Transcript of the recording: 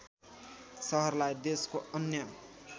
सहरलाई देशको अन्य